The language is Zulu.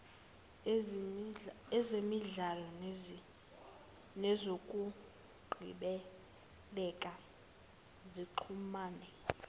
ezemidlalo nezokungcebeleka zixhumene